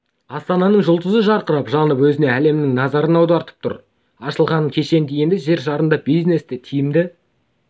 астананың жұлдызы жарқырап жанып өзіне әлемнің назарын аударып тұр ашылғаны кеше енді жер шарында бизнесті тиімді